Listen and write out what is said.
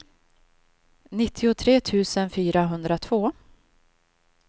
nittiotre tusen fyrahundratvå